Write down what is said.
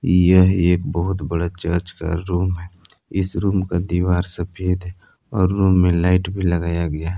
यह एक बहुत बड़ा चर्च का रूम है इस रूम का दीवार सफेद है और रूम में लाइट भी लगाया गया।